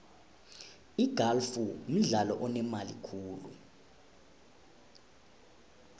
igalfu mdlalo onemali khulu